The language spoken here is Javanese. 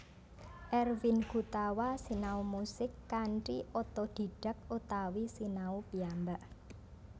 Erwin Gutawa sinau musik kanthi otodhidhak utawi sinau piyambak